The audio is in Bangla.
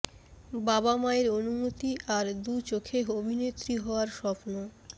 বাবা মায়ের অনুমতি আর দু চোখে অভিনেত্রী হওয়ার স্বপ্ন